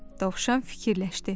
Dovşan fikirləşdi.